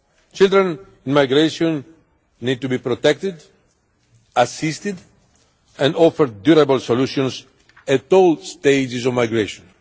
Children in migration need to be protected, assisted and offered durable solutions at all stages of migration.